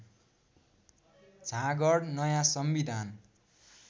झाँगड नयाँ संविधान